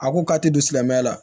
A ko k'a tɛ don silamɛya la